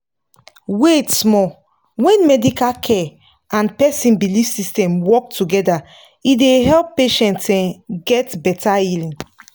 wait small when medical care and person belief system work together e dey help patients um get better healing